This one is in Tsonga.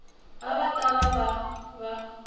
a va ta va va